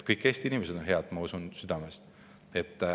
Kõik Eesti inimesed on head, ma usun südamest.